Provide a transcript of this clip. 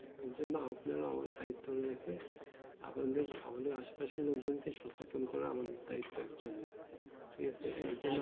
এই জন্য আপনি আমার দায়িত্ব নিয়েছে আমাদের আশেপাশে লোক জন কে সচেতন করা আমাদের দায়িত্ব actually ঠিক আছে